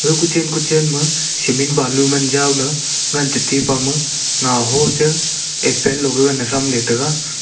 ga kuchen kuchen ma ma cement balu man jaw le taipe ma ngoho che apple low gagan tham le taiga.